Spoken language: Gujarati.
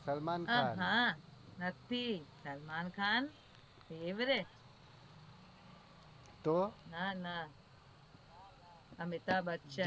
સલમાન ખાન નથી સલમાન ખાન ના ના અમિતાભ બચ્ચન